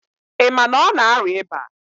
Ị ma na ọ na-arịa ịba?